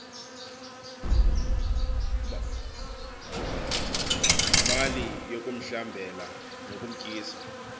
mali yokumhlambela nokumtyisa